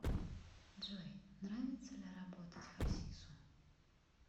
джой нравится ли работать хасису